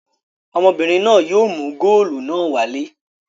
Ọmọbìnrin náà yóò mú góólù náà wálé.